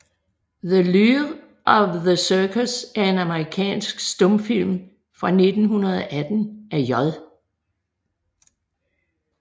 The Lure of the Circus er en amerikansk stumfilm fra 1918 af J